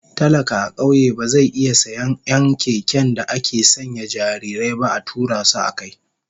Talaka a kauye ba zai iya sayen 'yan keken da ake sanya jarirai ba a tura su akai.